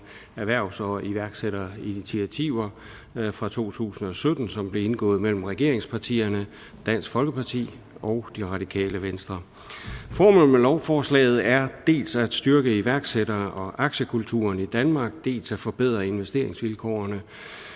erhvervs og iværksætterinitiativer fra to tusind og sytten som blev indgået mellem regeringspartierne dansk folkeparti og det radikale venstre formålet med lovforslaget er dels at styrke iværksætter og aktiekulturen i danmark dels at forbedre investeringsvilkårene